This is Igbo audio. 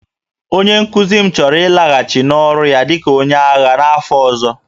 Onye nkuzi m chọrọ ịlaghachi n'ọrụ ya dị ka onye agha n'afọ ọzọ